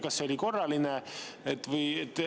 Kas see oli korraline?